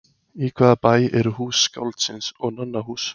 Í hvaða bæ eru Hús skáldsins og Nonnahús?